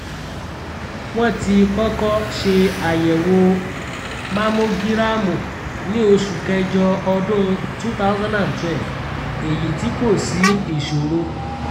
wọ́n ti kọ́kọ́ ṣe àyẹ̀wò mámógírámù ní oṣù kẹjọ ọdún 2012 èyí tí kò sí ìṣòro